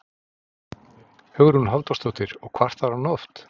Hugrún Halldórsdóttir: Og kvartar hann oft?